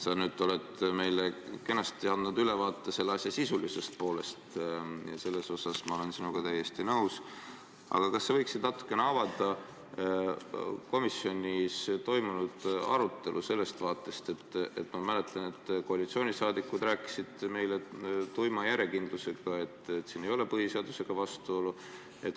Sa nüüd oled meile kenasti andnud ülevaate selle probleemi sisulisest poolest, selles osas ma olen sinuga täiesti nõus, aga kas sa võiksid natuke avada komisjonis toimunud arutelu sellest vaatepunktist, et ma mäletan, et koalitsioonisaadikud rääkisid meile tuima järjekindlusega, et siin ei ole põhiseadusega vastuolu.